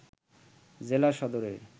জেলা সদরের